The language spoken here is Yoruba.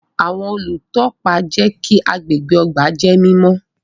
Awọn olutọpa jẹ kí agbègbè ọgbà jẹ mímọ